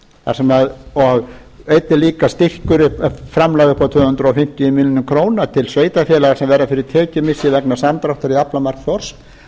eins og atvinnuleysistryggingasjóður og einnig líka styrkur framlag upp á tvö hundruð fimmtíu milljónir króna til sveitarfélaga sem verða fyrir tekjumissi vegna samdráttar í aflamarki þorsks